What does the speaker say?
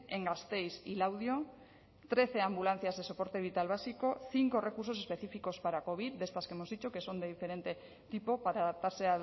en gasteiz y laudio trece ambulancias de soporte vital básico cinco recursos específicos para covid de estas que hemos dicho que son de diferente tipo para adaptarse